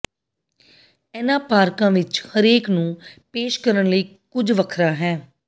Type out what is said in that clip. ਇਨ੍ਹਾਂ ਪਾਰਕਾਂ ਵਿਚ ਹਰੇਕ ਨੂੰ ਪੇਸ਼ ਕਰਨ ਲਈ ਕੁਝ ਵੱਖਰਾ ਹੈ